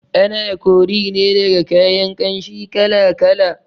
Ana kori ne daga kayan ƙanshi kala kala